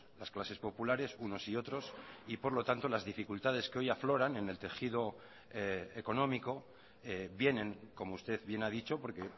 las clases populares unos y otros y por lo tanto las dificultades que hoy afloran en el tejido económico vienen como usted bien ha dicho porque